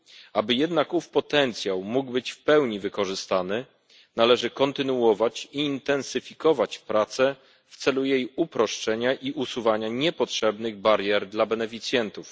Aby jednak ów potencjał mógł być w pełni wykorzystany, należy kontynuować i intensyfikować pracę w celu jej uproszczenia i usuwania niepotrzebnych barier dla beneficjentów.